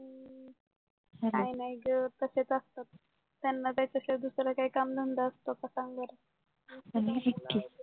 काय नाय ग तसेच असतात त्यांना त्याच्याशिवाय दुसरा कामधंदा असतो का सांग बर